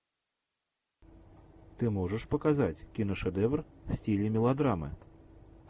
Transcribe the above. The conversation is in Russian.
ты можешь показать киношедевр в стиле мелодрамы